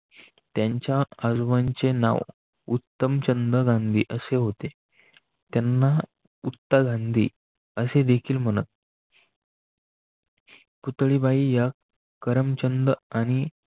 त्यांच्याआजोबांचे नाव उत्तमचंद गांधी असे हो. ते त्यांना उत्ता गांधी असे देखील म्हणत. पुतळी बाई या करमचंदआणि